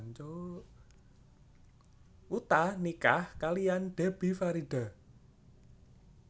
Utha nikah kaliyan Debbie Farida